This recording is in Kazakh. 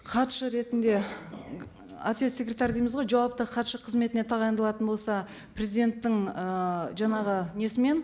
хатшы ретінде ответ секретарь дейміз ғой жауапты хатшы қызметіне тағайындалатын болса президенттің ііі жаңағы несімен